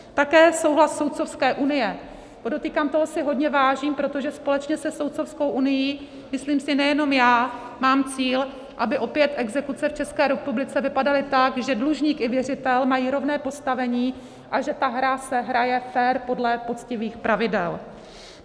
Také souhlas Soudcovské unie, podotýkám, toho si hodně vážím, protože společně se Soudcovskou unií, myslím si, nejenom já mám cíl, aby opět exekuce v České republice vypadaly tak, že dlužník i věřitel mají rovné postavení a že ta hra se hraje fér podle poctivých pravidel.